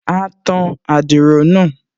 A tan adiro náà